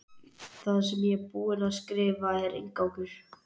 Það sem ég er búin að skrifa er inngangur.